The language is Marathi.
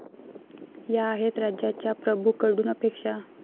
या आहेत राज्याच्या प्रभूंकडून अपेक्षा